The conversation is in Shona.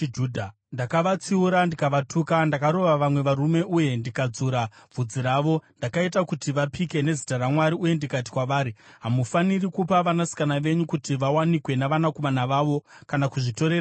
Ndakavatsiura ndikavatuka. Ndakarova vamwe varume uye ndikadzura bvudzi ravo. Ndakaita kuti vapike nezita raMwari uye ndikati kwavari, “Hamufaniri kupa vanasikana venyu kuti vawanikwe navanakomana vavo, kana kuzvitorera imi.